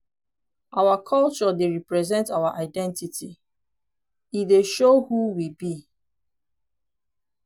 our culture dey represent our identity; e dey show who we be.